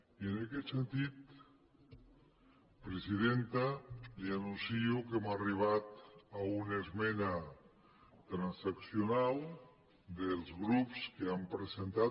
i en aquest sentit presidenta li anuncio que hem arribat a una esmena transaccional dels grups que han presentat